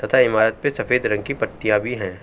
तथा ईमारत पे सफेद रंग की पट्टियां भी हैं।